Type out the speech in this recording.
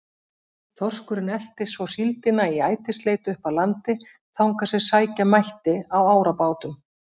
Þorskurinn elti svo síldina í ætisleit upp að landi þangað sem sækja mætti á árabátum.